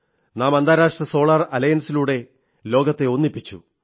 നാം അന്താരാഷ്ട്ര സോളാർ അലയൻസിലൂടെ ലോകത്തെ ഒന്നിപ്പിച്ചു